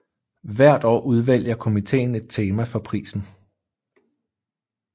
Hvert år udvælger komiteen et tema for prisen